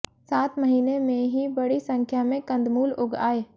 सात महीने में ही बड़ी संख्या में कंदमूल उग आए